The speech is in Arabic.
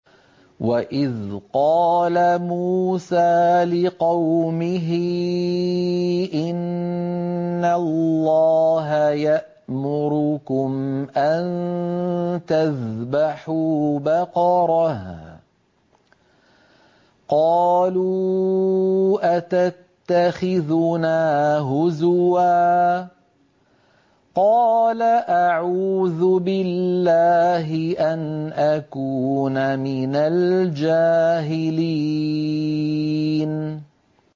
وَإِذْ قَالَ مُوسَىٰ لِقَوْمِهِ إِنَّ اللَّهَ يَأْمُرُكُمْ أَن تَذْبَحُوا بَقَرَةً ۖ قَالُوا أَتَتَّخِذُنَا هُزُوًا ۖ قَالَ أَعُوذُ بِاللَّهِ أَنْ أَكُونَ مِنَ الْجَاهِلِينَ